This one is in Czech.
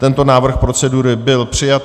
Tento návrh procedury byl přijat.